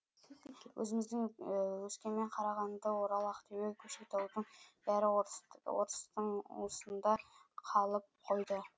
өзіміздің өскемен қарағанды орал ақтөбе көкшетаудың бәрі орыс орыстың уысында қалып қойды